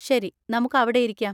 ശരി! നമുക്ക് അവിടെയിരിക്കാം.